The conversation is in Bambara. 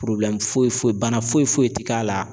foyi foyi bana foyi tɛ k'a la